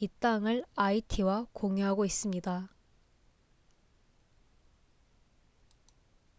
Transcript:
이 땅을 아이티와 공유하고 있습니다